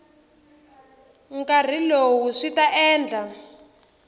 nkarhi lowu swi ta endla